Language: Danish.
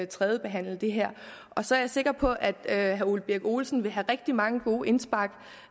tredjebehandle det her og så er jeg sikker på at herre ole birk olesen vil have rigtig mange gode indspark